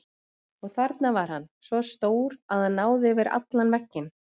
Og þarna var hann, svo stór að hann náði yfir allan vegginn.